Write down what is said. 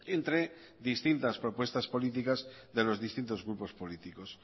entre distintas propuestas políticas de los distintos grupos políticos